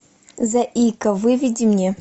заика выведи мне